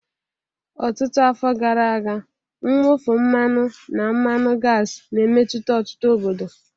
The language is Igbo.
Ọtụtụ afọ gara aga, mwụfu mmanụ na mmanụ gasi na-emetụta ọtụtụ obodo.